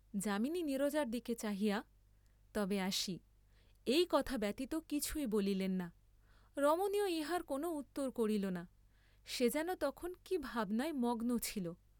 যামিনী নীরজার দিকে চাহিয়া তবে আসি, এই কথা ব্যতীত কিছুই বলিলেন না, রমণীও ইহার কোন উত্তর করিল না, সে যেন তখন কি ভাবনায় মগ্ন ছিল।